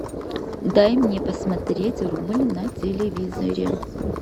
дай мне посмотреть рубль на телевизоре